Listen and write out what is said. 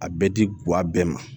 A bɛ di guwa bɛɛ ma